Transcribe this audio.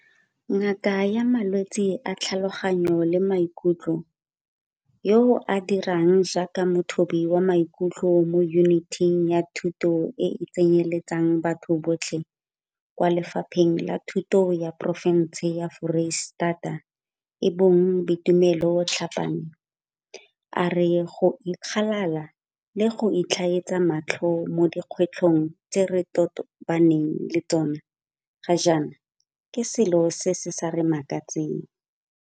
Ngaka ya malwetse a tlhaloganyo le maikutlo yo a dirang jaaka mothobi wa maikutlo mo Yuniting ya Thuto e e Tsenyeletsang Batho Botlhe kwa Lefapheng la Thuto la porofense ya Foreistata e bong Boitumelo Tlhapane, a re go ikgalala le go itlhaetsa matlho mo dikgwetlhong tse re tobaneng le tsona ga jaana ke selo se se sa re makatseng.